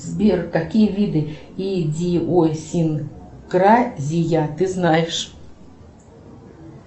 сбер какие виды идиосинкразия ты знаешь